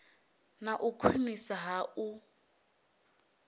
na u khwiniswa ha u